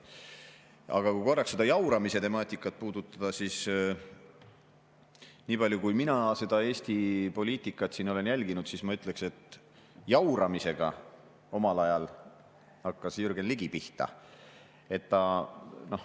Aga kui korraks seda jauramise temaatikat puudutada, siis nii palju, kui mina Eesti poliitikat olen jälginud, ma ütleksin, et jauramisega hakkas omal ajal pihta Jürgen Ligi.